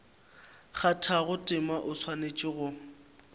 kgathago tema o swanetše go